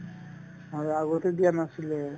হয় আগতে দিয়া নাছিলে